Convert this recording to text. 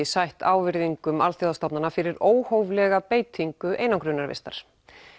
sætt ávirðingum alþjóðastofnana fyrir óhóflega beitingu einangrunarvistar